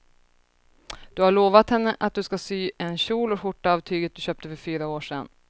Du har lovat henne att du ska sy en kjol och skjorta av tyget du köpte för fyra år sedan.